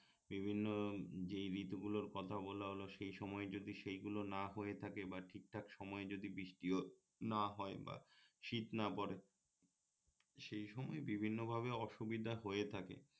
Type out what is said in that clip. বিভিন্ন যেই ঋতুগুলোর কথা বলা হলো সেই সময়ে যদি সেইগুলো না হয়ে থাকে বা ঠিকঠাক সময়ে যদি বৃষ্টিও না হয় বা শীত না পরে সেই সময়ে বিভিন্ন ভাবে অসুবিধা হয়ে থাকে